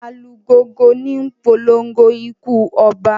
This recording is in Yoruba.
Alugongo níi polongo ikú oba.